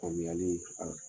O bɛ hinɛ u la fana.